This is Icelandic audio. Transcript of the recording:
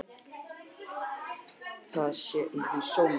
Það sé í því svo mikil gleði.